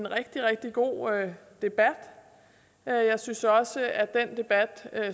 rigtig rigtig god debat jeg synes også at den debat